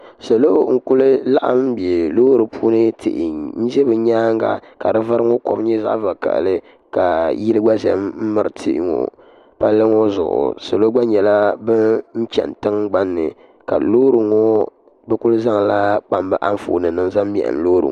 salo n.kuli laɣim bɛ lori puuni tihi m ʒɛ be nyɛŋa di kom ŋɔ nyɛ zaɣ' vakahili la yili gba ʒɛ mirili tɛhi ŋɔ pali ŋɔ zuɣ' salo gba nyɛla bɛn chɛni tiŋgbani ka lori ŋɔ bɛ kuli zaŋ la bɛ anƒɔni nima mɛhim lori ŋɔ